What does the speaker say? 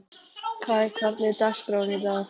Kai, hvernig er dagskráin í dag?